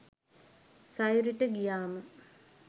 සයුරි ට ගියාම